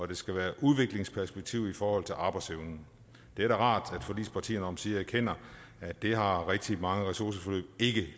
der skal være et udviklingsperspektiv i forhold til arbejdsevnen det er da rart at forligspartierne omsider erkender at det har rigtig mange ressourceforløb ikke